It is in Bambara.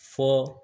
Fɔ